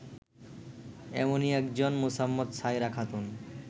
এমনই একজন মোসাম্মৎ সায়রা খাতুন